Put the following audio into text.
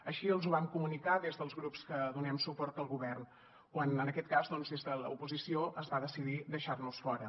així els ho vam comunicar des dels grups que donem suport al govern quan en aquest cas doncs des de l’oposició es va decidir deixar nos fora